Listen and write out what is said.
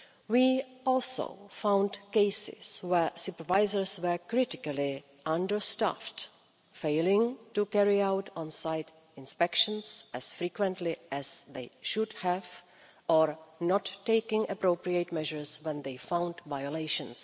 We also found cases where supervisors were critically understaffed, failing to carry out on site inspections as frequently as they should have done, or not taking appropriate measures when they found violations.